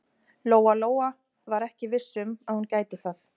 Lóa Lóa var ekki viss um að hún gæti það.